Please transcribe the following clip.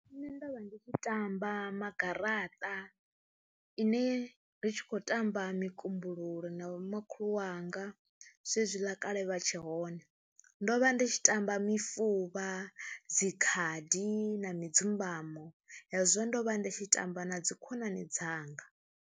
Nṋe ndo vha ndi tshi tamba magaraṱa ine ri tshi khou tamba mikumbululo na vhomakhulu wanga zwezwiḽa kale vha tshi hone, ndo vha ndi tshi tamba mifuvha, dzi khadi na mudzumbamo, hezwo ndo vha ndi tshi tamba na dzi khonani dzanga.